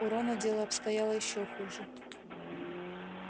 у рона дело обстояло ещё хуже